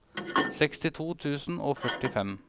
sekstito tusen og førtifem